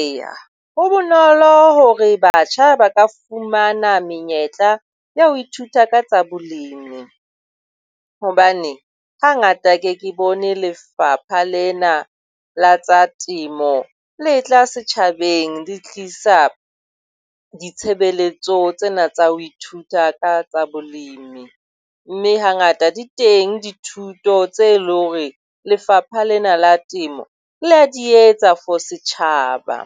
Eya, ho bonolo hore batjha ba ka fumana menyetla ya ho ithuta ka tsa balemi hobane hangata ke ke bone lefapha lena la tsa temo le tla setjhabeng le tlisa ditshebeletso tsena tsa ho ithuta ka tsa bolemi, mme hangata di teng dithuto tse leng hore lefapha lena la temo le a di etsa for setjhaba,